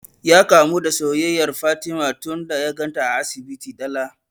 Ya kamu da soyayyar fatima tun da ya ganta a asibitin dala